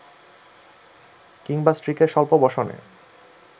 কিংবা স্ত্রীকে স্বল্প বসনে